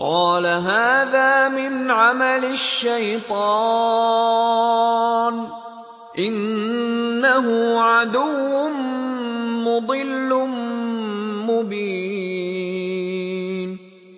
قَالَ هَٰذَا مِنْ عَمَلِ الشَّيْطَانِ ۖ إِنَّهُ عَدُوٌّ مُّضِلٌّ مُّبِينٌ